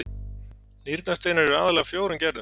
Nýrnasteinar eru aðallega af fjórum gerðum.